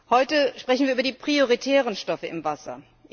Heute sprechen wir über die prioritären Stoffe im Wasser.